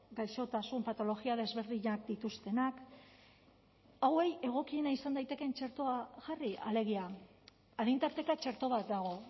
gaixotasun patologia desberdinak dituztenak hauei egokiena izan daitekeen txertoa jarri alegia adin tarteka txerto bat dago